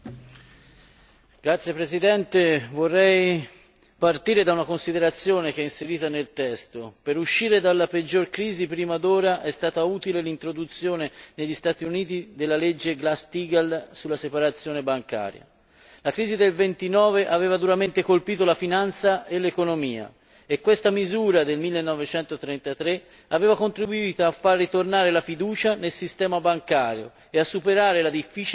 Signor Presidente, onorevoli colleghi, vorrei partire da una considerazione che è inserita nel testo per uscire dalla peggiore crisi prima d'ora è stata utile l'introduzione negli Stati Uniti della legge Glass Steagall sulla separazione bancaria. La crisi del '29 aveva duramente colpito la finanza e l'economia e questa misura del 1933 aveva contribuito a far ritornare la fiducia nel sistema bancario e a superare la difficile situazione.